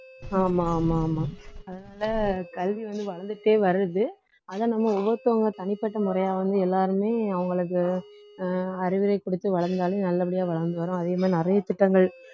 ஆமா ஆமா ஆமா அதனால கல்வி வந்து வளர்ந்துக்கிட்டே வருது ஆனா நம்ம ஒவ்வொருத்தவங்க தனிப்பட்ட முறையா வந்து எல்லாருமே அவங்களுக்கு அஹ் அறிவுரை கொடுத்து வளர்ந்தாலே நல்லபடியா வளர்ந்து வரும் அதே மாதிரி நிறைய திட்டங்கள்